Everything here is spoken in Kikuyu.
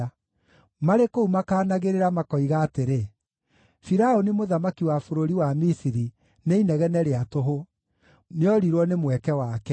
Marĩ kũu makaanagĩrĩra, makoiga atĩrĩ, ‘Firaũni mũthamaki wa bũrũri wa Misiri, nĩ inegene rĩa tũhũ; nĩorirwo nĩ mweke wake.’ ”